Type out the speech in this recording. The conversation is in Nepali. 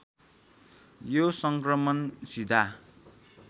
यो सङ्क्रमण सीधा